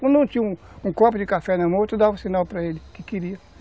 Quando não tinha um copo de café na mão, tu dava o sinal para ele, que queria.